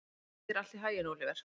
Gangi þér allt í haginn, Óliver.